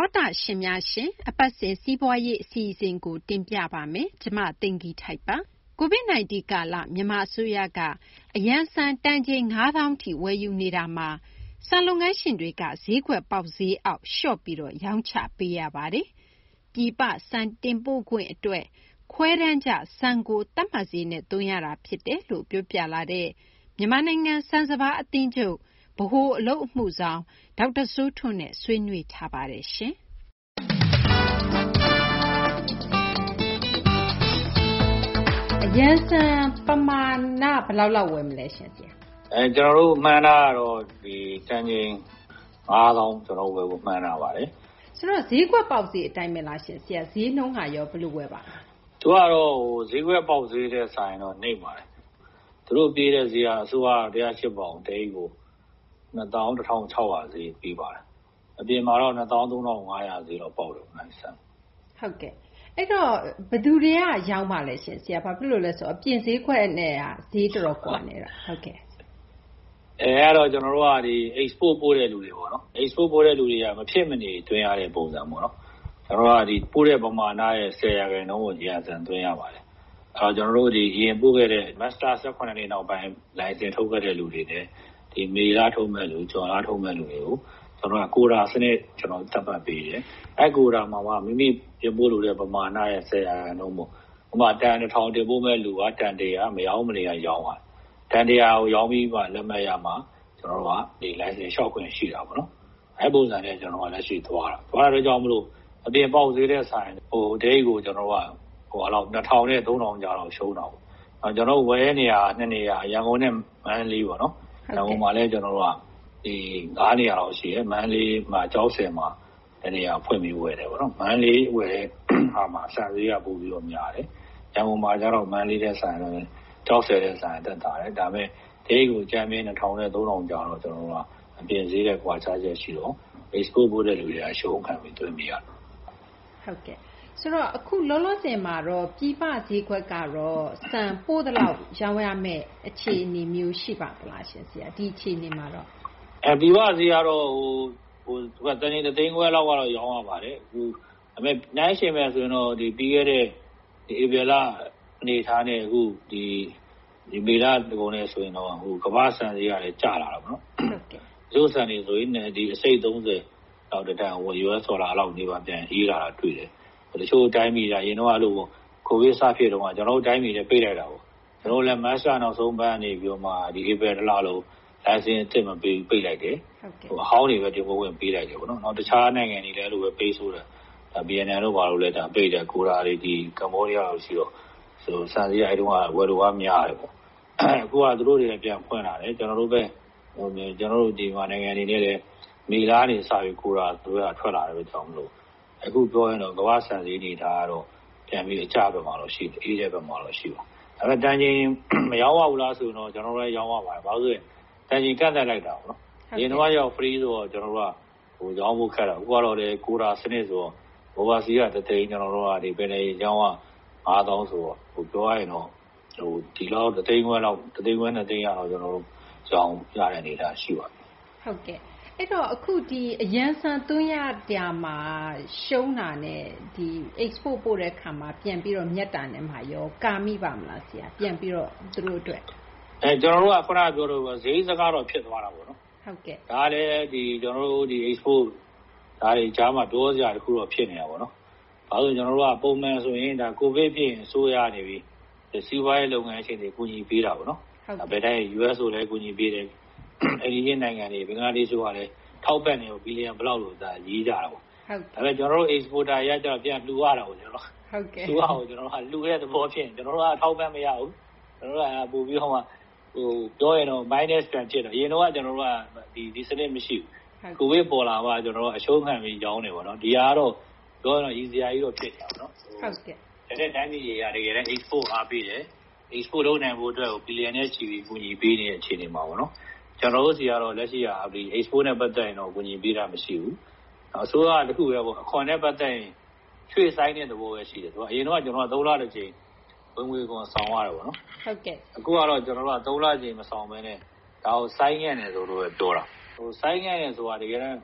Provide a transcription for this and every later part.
ောတရှင်များရှင် အပတ်စဉ် စီးပွားရေး အစီအစဉ်ကို တင်ပြပေးပါမယ်။ ကျမ သိင်္ဂ ီထိုက်ပါ။ COVID 19 ကာလ မြန်မာ အစိုးရက အရန်ဆန် တန်ချိန် ၅ သောင်းထိ ဝယ်ယူနေတာမှာ ဆန်လုပ်ငန်းရှင်တွေက ဈေးကွက်ပေါက်ဈေးအောက် လျှော့ပြီး ရောင်းချပေးရပါတယ်။ ပြည်ပ ဆန်တင်ပို့ခွင့် အတွက် ခွဲတမ်းကျဆန်ကို သတ်မှတ်ဈေးနဲ့ သွင်းရတာ ဖြစ်တယ်လို့ ပြောပြလာတဲ့ မြန်မာနိုင်ငံ ဆန်စပါး အသင်းချုပ် ဗဟိုအလုပ်အမှုဆောင် ဒေါက်တာ စိုးထွန်းနဲ့ ဆွေးနွေးထားပါတယ်။ အရန်ဆန် ပမာဏ ဘယ်လောက် ဝယ်မလဲရှင့် ဆရာ။ ကျနော်တို့ မှန်းထားတာတော့ တန်ချိန် ၅၀,၀၀၀ ကျနော်တို့ ဝယ်ဖို့ မှန်းထားပါတယ်။ ဆိုတော့ ဈေးကွက်ပေါက်ဈေး အတိုင်းဘဲလားရှင့်။ ဈေးနှုန်းကရော ဘယ်လို ဝယ်ပါလဲ။ သူက ဈေးကွက်ပေါက်ဈေးထက် စာရင်တော့ နိမ့်ပါတယ်။ သူတို့ ပေးတဲ့ ဈေးက အစိုးရက ၁၀၈ ပေါင် တအိတ်ကို ၂၁,၆၀၀ ဈေး ပေးပါတယ်။ အပြင်မှာတော့ ၂၃,၅၀၀ ဈေးလောက် ပေါက်ပါတယ်။ ဟုတ်ကဲ့ အဲဒီတော့ ဘယ်သူတွေက ရောင်းပါလဲရှင့်။ ဘာဖြစ်လို့လဲ ဆိုတော့ အပြင်ဈေးကွက်နဲ့က ဈေးတော်တော် ကွာနေတော့။ အဲဒါကတော့ ကျနော်တို့က ဒီ အိတ်စ်ပို့ ပို့တဲ့သူတွေပေါ့နော်။ အိတ်စ်ပို့ ပို့တဲ့သူတွေက မဖြစ်မနေ သွင်းရတဲ့ ပုံစံပေါ့နော်။ ကျနော်တို့က ပို့တဲ့ ပမာဏရဲ့ ၁၀ ရာခိုင်နှုန်းကို အရန်ဆန် သွင်းရပါတယ်။ အရင်ပို့ခဲ့တဲ့ မတ်လ ၁၇ ရက်နေ့ နောက်ပိုင်း လိုင်စင် ထုတ်ခဲ့တဲ့ လူတွေနဲ့ မေလ ထုတ်မယ့်လူ ဇွန်လ ထုတ်မယ့်လူ တွေကို ကျနော်တို့က ခွဲတမ်း စနစ် သတ်မှတ်ပေးတယ်။ အဲဒီ ခွဲတမ်းကိုမှ မိမိတင်ပို့လိုတဲ့ ပမာဏရဲ့ ၁၀ ရာခိုင်နှုန်းပေါ့၊ ဥပမာ တန် ၁၀၀၀ တင်ပို့မယ့် လူက တန် ၁၀၀ မရောင်းမနေရ ရောင်း။ တန် ၁၀၀ ရောင်းပြီးသွားရင် လက်မှတ်ရမှာ ဒီ လိုင်စင် လျှောက်ခွင့်ရှိတာပေါ့နော်။ အဲဒီ ပုံစံနဲ့ ကျနော်တို့က လက်ရှိ သွားတာ။ သွားတဲ့ အတွက်ကြောင့် မို့လို့ အပြင်ပေါက်ဈေးနဲ့ စာရင် တအိတ်ကို ၂,၀၀၀ နဲ့ ၃,၀၀၀ ကြားလောက် ရှုံးတာပေါ့။ ကျနော်တို့ ဝယ်တဲ့ နေရာက ၂ နေရာ ရန်ကုန်နဲ့ မန္တလေးပေါ့နော်။ ရန်ကုန်မှာလည်း ကျနော်တို့က ၅ နေရာလောက် ရှိတယ်။ မန္တလေးမှာ ကျောက်ဆည်မှာ တနေရာ ဖွင့်ပြီးတော့ ဝယ်တယ်ပေါ့နော်။ မန္တလေး ဝယ်တဲ့ အခါမှာ ဆန်ဈေးက ပိုပြီးများတယ်။ ရန်ကုန်မှာကတော့ ကျောက်ဆည်ထက် စာရင် သက်သာတယ်။ ဒါပေမယ့် တအိတ်ကို အကြမ်းဖျဉ်း ၂,၀၀၀ နဲ့ ၃,၀၀၀ ကြားတော့ အပြင်ဈေးနဲ့ ကွာခြားချက် ရှိတယ်။ Export ပို့တဲ့သူတွေက အရှုံးခံပြီး သွင်းပေးရတယ်။ အခု လောလောဆယ်ကတော့ ပြည်ပ ဈေးကွက်ကတော့ ဆန် ပို့သလောက် ရောင်းရမယ့် အခြေအနေမျိုး ရှိပါသလားရှင့်။ ပြည်ပ ဈေးကွက်ကတော့ တန်ချိန် ၁၅၀,၀၀၀ လောက်တော့ ရောင်းရပါတယ်။ ဒါပေမယ့် နှိုင်းယှဉ်မယ် ဆိုရင်တော့ ပြီးခဲ့တဲ့ ဧပြီလ အနေအထားနဲ့ အခု မေလကုန်နဲ့ ဆိုရင်တော့ ကမ္ဘာ့ ဆန်ဈေးကလည်း ကျလာတာပေါ့။ တချို့ဆန်တွေ ဆိုရင်တတန်ကို အမေရိကန် ဒေါ်လာ ၂၅, ၃၀ လောက် နီးပါး ပြန်အေးလာတာကို တွေ့ရတယ်။ တချို့ တိုင်းပြည်တွေက အရင်တုန်းက အဲလိုပေါ့ COVID စဖြစ်တုန်းက ကျနော်တို့ တိုင်းပြည်လည်း ပိတ်လိုက်တာကိုး။ မတ်လ နောက်ဆုံးပတ်ကနေ ပြီးတော့မှ ဒီ ဧပြီ တလလုံး လိုင်စင် အသစ် မပေးဘူး ပိတ်လိုက်တယ်။ အဟောင်းတွေဘဲ တင်ပို့ခွင့် ပေးလိုက်တယ်။ တခြားနိုင်ငံတွေလည်း အဲလိုဘဲ ပိတ်ဆို့တယ်။ ဗီယက်နမ်တို့ ကမ္ဘောဒီးယားတို့။ ဆန်ဈေးက အဲဒီတုန်းက ဝယ်လိုအား များတယ်ပေါ့။ အခုက သူတို့တွေလည်း ပြန်ဖွင့်လာတယ်။ ကျနော်တို့ မြန်မာနိုင်ငံ အနေနဲ့လည်း မေလကနေ စပြီးတော့ Quota ထွက်လာတဲ့ အတွက်ကြောင့်မို့ အခု ပြောရရင်တော့ ကမ္ဘာ့ဆန်ဈေး အနေအထားကတော့ ပြန်ပြီး အကျဘက်မှာတော့ ရှိနေတယ်။ ဒါပေမယ့် မရောင်းရဘူးလားဆိုတော့ ကျနော်တို့လည်း ရောင်းရပါတယ်။ တန်ချိန် ကန့်သတ်လိုက်တာကိုး။ အရင်တုန်းကတော့ Free ဆိုတော့ ကျနော်တို့က ရောင်းဖို့ ခက်တာပေါ့။ အခုကတော့ Quota စနစ်ဆိုတော့ တန်ချိန် ၁၅၀,၀၀၀ - ၂၀၀,၀၀၀ ကတော့ ကျနော်တို့ ရောင်းရတဲ့ အနေအထား ရှိပါတယ်။ ဟုတ်ကဲ့။ အဲဒီတော့ အရန်ဆန် သွင်းတာမှာ ရှုံးတာနဲ့ Export ပို့တာမှာ ပြန်ပြီး မြတ်တာနဲ့မှာရော ကာမိပါရဲ့လားရှင့်။ ခန ပြောသလိုပေါ့ စရိတ်စကတော့ ဖြစ်သွားတာပေါ့။ ကျနော်တို့ Export တွေကြားမှာတော့ ပြောစရာ တခုတော့ ဖြစ်နေတာပေါ့နော်။ ဘာဖြစ်လို့လဲ ဆိုတော့ ကျနော်တို့က ပုံမှန်ဆိုရင် COVID ဖြစ်ရင် အစိုးရက နေပြီး စီးပွားရေး လုပ်ငန်းရှင်တွေကို ကူညီပေးတာပေါ့နော်။ US ဆိုလည်းကူညီပေးတယ်။ အိမ်နီးချင်း နိုင်ငံတွေ ဘင်္ဂလားဒေရှ့်တို့ကလည်း အထောက်အပံ့ကို သန်းပေါင်း ဘယ်လောက် ဒါတွေ ရေးကြတာပေါ့။ ဒါပေမယ့် ကျနော်တို့ Exporter တွေကတော့ ပြန်လှူရတာပေါ့နော်။ အစိုးရကို လှူတဲ့ သဘောဖြစ်နေတာ။ ကျနော်တို့က အထောက်အပံ့ မရဘူး။ ကျနော်တို့က ပြောရရင်တော့ မိုင်းနပ်စ် ပြန်ဖြစ်တာ။ အရင်တုန်းက ကျနော်တို့က ဒီစနစ် မရှိဘူး။ COVID ပေါ်လာမှ ကျနော်တို့က အရှုံးခံပြီး ရောင်းတယ်ပေါ့နော်။ ဒါက ပြောရရင်တော့ ရီစရာကြီးတော့ ဖြစ်နေတာပေါ့။ ကျန်တဲ့ တိုင်းပြည်တွေက Export ကို အားပေးတယ်။ Export လုပ်နိုင်ဖို့ကို ဘီလျံနဲ့ ချီပြီး ကူညီပေးနေတဲ့ အချိန်မှာပေါ့နော် ကျနော်တို့ဆီကတော့ လက်ရှိမှာ ဒီ Export နဲ့ ပတ်သက်ရင်တော့ ကူညီပေးတာ မရှိဘူး။ အစိုးရက တခုဘဲ အခွန်နဲ့ ပတ်သက်ရင် ရွှေ့ဆိုင်းတဲ့ သဘောဘဲ ရှိတယ်။ အရင်တုန်းက ကျနော်တို့က ၃ လ တကြိမ် ဝင်ငွေခွန် ဆောင်ရတယ်ပေါ့နော်။ အခုကတော့ ကျနော်တို့က ၃ လ တကြိမ် မဆောင်ဘဲနဲ့ ဒါကို ဆိုင်းငံ့တယ်လို့ဘဲ ပြောတာကို။ ဆိုင်းငံ့တယ်ဆိုတာ တကယ်တန်း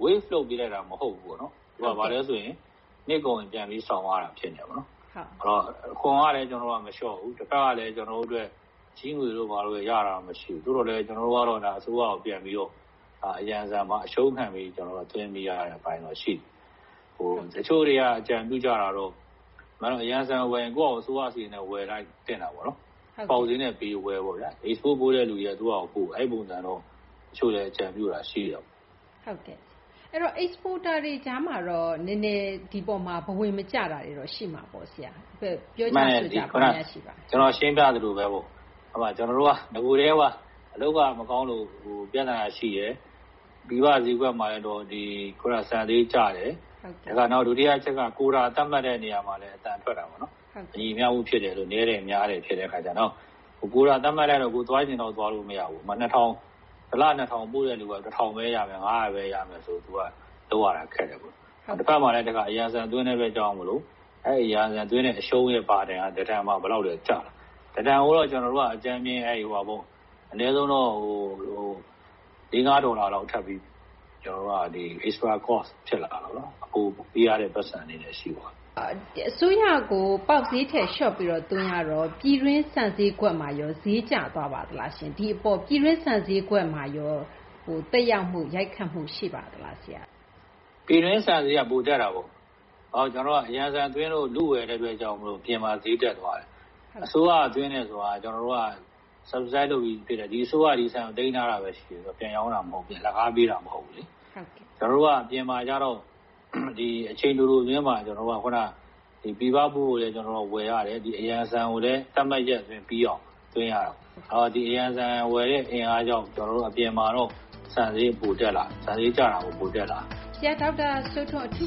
ပလှပ် ပေးလိုက်တာ မဟုတ်ဘူးပေါ့နော်။ သူက နှစ်ကုန်ရင် ပြန်ပြီး ဆောင်ရတာ ဖြစ်နေတာပေါ့နော်။ အခွန်ကလည်း မလျှော့ဘူး တဖက်ကလည်း ကျနော်တို့ အတွက် ချေးငွေတို့ ဘာတို့လည်း ရတာ မရှိဘူး။ သို့သော်လည်း ကျနော်တို့ကတော့ အစိုးရကို ပြန်ပြီး အရန်ဆန်မှာ အရှုံးခံပြီး သွင်းပေးရတဲ့ အပိုင်း ရှိနေတယ်။ တချို့တွေက အကြံပြုကြတာကတော့ အရန်ဆန် ဝယ်ရင် ကိုယ့်ဘာသာ အစိုးရ စာရိတ်နဲ့ ဝယ်လိုက်သင့်တာပေါ့နော်။ ပေါက်ဈေးနဲ့ ပေးဝယ်ပေါ့ဗျာ။ Export ပို့တဲ့ လူတွေက သူ့ဘာသာ ပို့ အဲလိုတော့ တချို့လူတွေက အကြံပြုတာ ရှိတာပေါ့။ ဆိုတော့ Exporter တွေ ကြားမှာတော့ ဒီ အပေါ်မှာ ဘ၀ မကျတာ တွေ ရှိမှာပေါ့ ဆရာ ပြောကြဆိုကြ ဘာများ ရှိပါသလဲ။ ခုန ကျနော် ရှင်းပြသလိုဘဲ။ ကျနော်တို့က နဂိုကတည်းက အလုပ်က မကောင်းလို့ ပြသနာ ရှိတယ်။ ပြည်ပ ဈေးကွက်မှာလည်း ဆန်ဈေးကျတယ်။ နောက် ဒုတိယ တချက်က ခွဲတမ်း သတ်မှတ်တဲ့ နေရာမှာလည်း အသံထွက်တာပေါ့နော်။ မညီမျှမှု ဖြစ်တယ်တို့ နည်းတယ် များတယ် ဖြစ်တဲ့အခါကျတော့။ နောက် ခွဲတမ်း သတ်မှတ် လိုက်လို့လည်း ကိုယ်သွားချင် သလောက် သွားလို့ မရဘူး။ ဥပမာ တလ ၂,၀၀၀ ပို့တဲ့သူက ၁,၀၀၀ ဘဲ ရမယ်၊ ၅၀၀ ဘဲ ရမယ်ဆို သူက လုပ်ရတာ ခက်တာပေါ့။ တဖက်မှာလည်း အရန်ဆန် သွင်းတဲ့ အတွက်ကြောင့်မို့လို့ အဲဒီ အရန်ဆန် သွင်းတဲ့ အရှုံးရဲ့ ဝန်ထုပ်ဝန်ပိုးက တတန် ဘယ်လောက် ကျလဲ ဆိုတော့ တတန်ကိုတော့ ကျနော်တို့က အကြမ်းဖျဉ်း ၄-၅ ဒေါ်လာလောက် အပို ကုန်ကျစာရိတ် ဖြစ်လာတာပေါ့နော်။ အစိုးရကို ပေါက်ဈေးအောက် လျှော့သွင်းရတော့ ပြည်တွင်း ဆန်ဈေးကွက်မှာရော ဈေးကျသွားပါသလားရှင့်။ ပြည်တွင်း ဆန် ဈေးကွက်မှာရော သက်ရောက်မှု ရိုက်ခတ်မှု ရှိပါသလား ဆရာ။ ပြည်တွင်း ဆန်ဈေးက ပိုတက်တာပေါ့။ အရန်ဆန် သွင်းဖို့ လုဝယ်တဲ့ အတွက်ကြောင့် မို့လို့ အပြင်မှာ ဈေးတက်သွားတယ်။ အစိုးရက သွင်းတယ်ဆိုတာ ကျနော်တို့က Subsidize လုပ်ပြီး ဖြစ်တယ်။ ဒီ အစိုးရက ဒီဆန်ကို သိမ်းထားတာဘဲ ရှိတာ။ ပြန်ရောင်းတာ မဟုတ်ဘူး။ အလကား ပေးတာ မဟုတ်ဘူး။ ကျနော်တို့က အပြင်မှာကျတော့ အချိန်တို အတွင်းမှာ ပြည်ပ ပို့ဖို့လည်း ဝယ်ရတယ်။ အရန်ဆန် ကိုလည်း သတ်မှတ်ရက် အတွင်းပြီးအောင် သွင်းရတယ်။ ဒီအရန်ဆန်ကို ဝယ်တဲ့ အင်အားကြောင့် အပြင်မှာတော့ ဆန်ဈေး ပိုတက်လာတယ်။ ဆန်ဈေး ကျတာ မဟုတ်ဘူး ပိုတက်လာတာ။ ဆရာ ဒေါက်တာ စိုးထွန်း အထူး